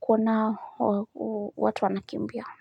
kuona watu wanakimbia.